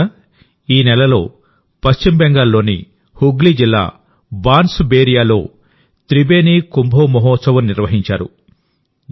మిత్రులారాఈ నెలలో పశ్చిమ బెంగాల్లోని హుగ్లీ జిల్లా బాన్స్బేరియాలో త్రిబేని కుంభో మోహోత్సవ్ నిర్వహించారు